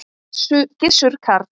Gissur Karl.